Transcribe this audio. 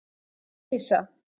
Elísa